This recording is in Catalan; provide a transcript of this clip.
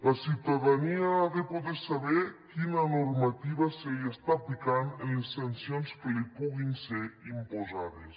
la ciutadania ha de poder saber quina normativa se li està aplicant en les sancions que li puguin ser imposades